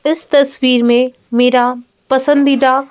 इस तस्वीर में मेरा पसंदीदा।